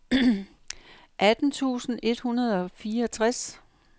atten tusind et hundrede og fireogtres